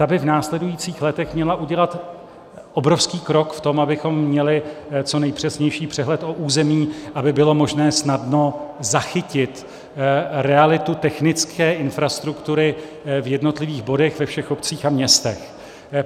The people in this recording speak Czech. Ta by v následujících letech měla udělat obrovský krok v tom, abychom měli co nejpřesnější přehled o území, aby bylo možné snadno zachytit realitu technické infrastruktury v jednotlivých bodech ve všech obcích a městech.